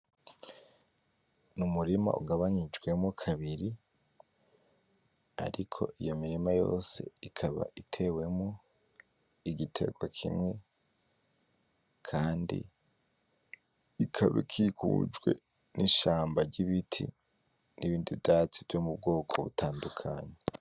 Numurima ugabanijwemo kabiri, ariko iyo mirima yose ikaba itewemo igitwega kimwe, kandi ikaba ikikujwe nishamba ryibiti nibindi vyatsi vyomubwoko butandukanye.